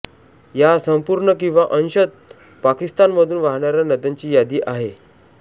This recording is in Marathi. या संपूर्ण किंवा अंशतः पाकिस्तानमधून वाहणाऱ्या नद्यांची यादी आहे